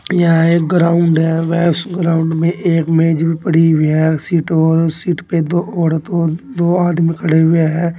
यह एक ग्राउन है वह उस ग्राउन में एक मेज भी पड़ी हुई है सीटों और सीट पर दो औरत और दो आदमी भी खड़े हुवे हैं।